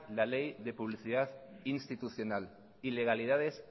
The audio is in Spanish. la ley de publicidad institucional ilegalidades